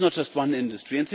It is not just one industry.